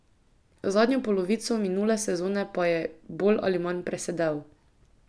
Zadnjo polovico minule sezone pa je bolj ali manj presedel.